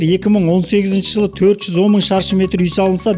екі мың он сегізінші жылы төрт жүз он мың шаршы метр үй салынса